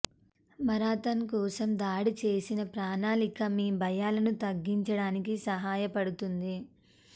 marathon కోసం దాడి చేసిన ప్రణాళిక మీ భయాలను తగ్గించడానికి సహాయపడుతుంది